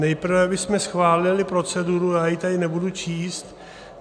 Nejprve bychom schválili proceduru, já ji tady nebudu číst.